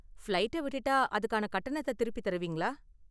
ஃபிளைட்டை விட்டுட்டா அதுக்கான கட்டணத்தை திருப்பித் தருவீங்களா?